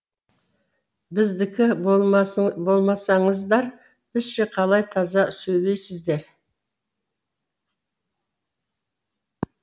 біздікі болмасаңыздар бізше қалай таза сөйлейсіздер